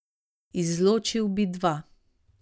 Izločil bi dva.